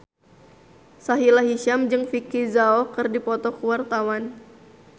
Sahila Hisyam jeung Vicki Zao keur dipoto ku wartawan